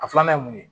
A filanan ye mun ye